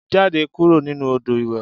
Jáde kúrò nínú odò ìwẹ̀